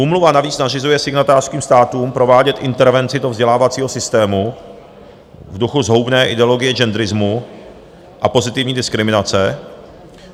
Úmluva navíc nařizuje signatářským státům provádět intervenci do vzdělávacího systému v duchu zhoubné ideologie genderismu a pozitivní diskriminace.